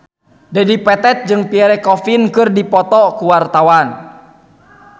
Dedi Petet jeung Pierre Coffin keur dipoto ku wartawan